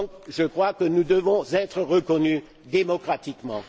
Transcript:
Je crois donc que nous devons être reconnus démocratiquement.